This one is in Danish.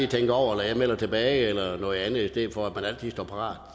tænke over eller jeg melder tilbage eller noget andet i stedet for at man altid står parat